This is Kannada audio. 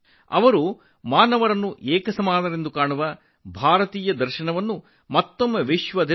ಎಲ್ಲ ಮನುಷ್ಯರನ್ನು ಸಮಾನವಾಗಿ ಕಾಣುವ ಭಾರತೀಯ ತತ್ವವನ್ನು ಅವರು ಮತ್ತೊಮ್ಮೆ ಜಗತ್ತಿಗೆ ಸಾರಿದರು